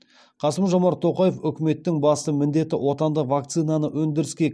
қасым жомарт тоқаев үкіметтің басты міндеті отандық вакцинаны өндіріске